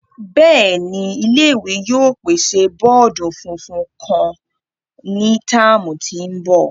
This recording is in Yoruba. Bẹẹni, ile-iwe yoo pese bọọdu funfun kan ni tạmu tin bo.